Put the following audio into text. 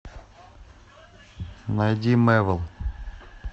найди мэвл